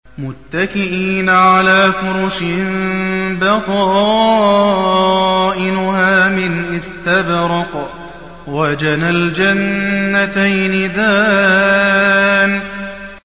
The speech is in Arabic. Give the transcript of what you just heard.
مُتَّكِئِينَ عَلَىٰ فُرُشٍ بَطَائِنُهَا مِنْ إِسْتَبْرَقٍ ۚ وَجَنَى الْجَنَّتَيْنِ دَانٍ